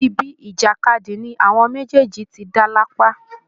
ibi ìjàkadì ni àwọn méjèèjì ti dá lápá